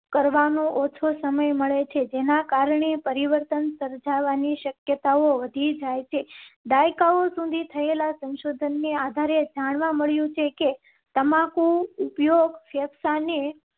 કરવા નો ઓછો સમય મળે છે. જેના કારણે પરિવર્તન સર્જાવા ની શક્યતાઓ વધી જાય છે. દાયકાઓ. શું તમ ને આધારે જાણવા મળ્યું છે કે તમાકુ ઉપયોગ? ફેફસા ને